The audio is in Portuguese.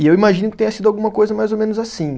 E eu imagino que tenha sido alguma coisa mais ou menos assim.